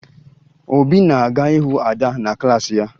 Obi na-aga ịhụ Ada na klaasị ya